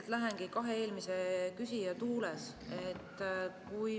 Ma lähen kahe eelmise küsija tuules.